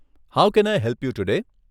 How can I help you today?